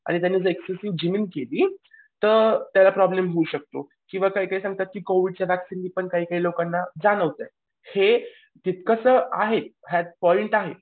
आणि जर त्याने एक्सेसिव्ह जिमिंग केली तर त्याला प्रॉब्लेम होऊ शकतो. किंवा काही काही सांगतात की कोवीडच्या वॅक्सीनने काही काही लोकांना जाणवतंय हे तितकंसं आहे यात पॉईंट आहे.